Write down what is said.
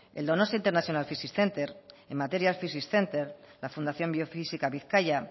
el donostia international physics center el materials physics center la fundación biofísica bizkaia